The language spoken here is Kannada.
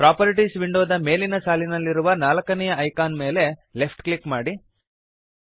ಪ್ರಾಪರ್ಟೀಸ್ ವಿಂಡೋದ ಮೇಲಿನ ಸಾಲಿನಲ್ಲಿರುವ ನಾಲ್ಕನೆಯ ಐಕಾನ್ ಮೇಲೆ ಲೆಫ್ಟ್ ಕ್ಲಿಕ್ ಮಾಡಿರಿ